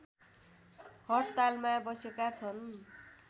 हडतालमा बसेका छन्